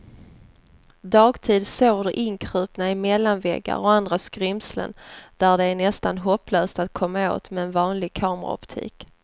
Dagtid sover de inkrupna i mellanväggar och andra skrymslen där det är nästan hopplöst att komma åt med en vanlig kameraoptik.